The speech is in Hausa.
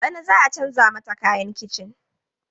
Bana za a canza mata kayan kicin?